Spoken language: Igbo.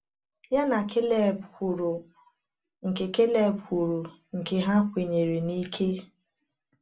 Ya na Kaleb kwuru nke Kaleb kwuru nke ha kwenyere n’ike.